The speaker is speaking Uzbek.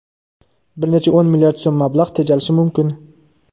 bir necha o‘n milliard so‘m mablag‘ tejalishi mumkin.